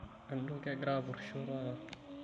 Enotoki egira apurisho taata.